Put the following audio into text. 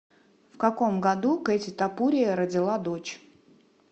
в каком году кэти топурия родила дочь